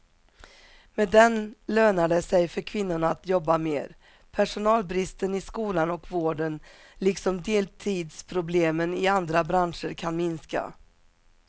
Med den lönar det sig för kvinnorna att jobba mer, personalbristen i skolan och vården liksom deltidsproblemen i andra branscher kan minska.